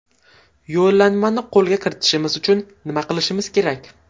Yo‘llanmani qo‘lga kiritishimiz uchun nima qilishimiz kerak?